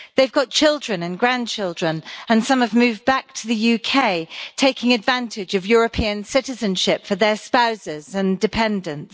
They've got children and grandchildren and some have moved back to the UK, taking advantage of European citizenship for their spouses and dependents.